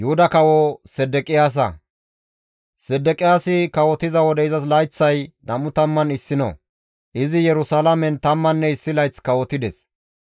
Sedeqiyaasi kawotiza wode izas layththay 21; izi Yerusalaamen tammanne issi layth kawotides.